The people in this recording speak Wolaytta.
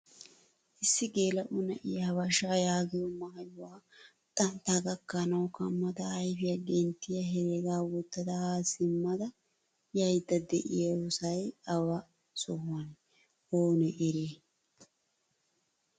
Issi gela'o na'iyaa habashsha yaagiyoo maayuwaa xantta gakkanawu kamada ayfiyan genttiya herega wottada ha simmada yayda deiiyosay awa sohuwane? Oone eriyay?